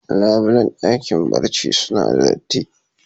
Labulen dakin barci suna da datti.